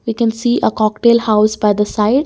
you can see uh cocktail house by the side.